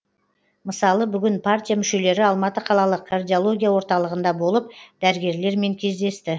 мысалы бүгін партия мүшелері алматы қалалық кардиология орталығында болып дәрігерлермен кездесті